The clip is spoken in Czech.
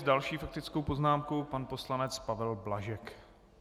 S další faktickou poznámkou pan poslanec Pavel Blažek.